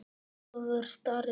Ólafur Darri.